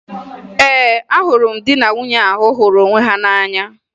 Ee, ahụrụ m di na nwunye ahụ hụrụ onwe ha n'anya